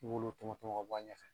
I b'olu tɔmɔ tɔmɔ ka bɔ a ɲɛfɛ.